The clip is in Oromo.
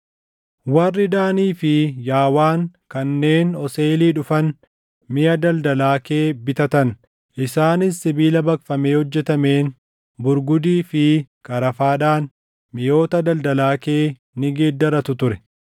Warri Daanii fi Yaawaan kanneen Oseelii dhufan miʼa daldalaa kee bitatan; isaanis sibiila baqfamee hojjetameen burgudii fi qarafaadhaan miʼoota daldalaa kee ni geeddarratu ture.